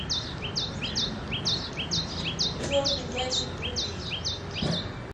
черный ящик вруби